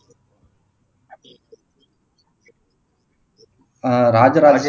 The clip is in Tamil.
அஹ் ராஜராஜ